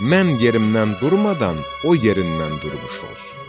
Mən yerimdən durmadan o yerindən durmuş olsun.